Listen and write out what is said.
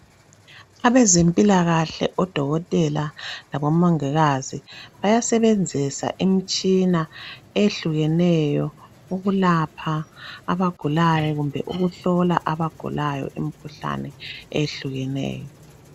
Abezempilakahle odokotela labomongikazi bayasebenzisa imitshina eyehlukeneyo ukwelapha lokuhlola imikhuhlane etshiyeneyo.